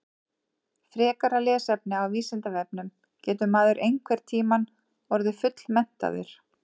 Frekara lesefni á Vísindavefnum Getur maður einhvern tímann orðið fullmenntaður?